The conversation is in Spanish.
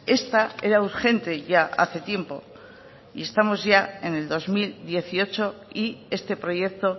esta era urgente ya hace tiempo y estamos ya en el dos mil dieciocho y este proyecto